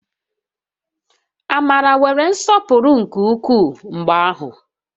Amara nwere nsọpụrụ nke ukwuu mgbe ahụ